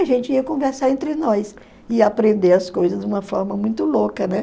A gente ia conversar entre nós e ia aprender as coisas de uma forma muito louca, né?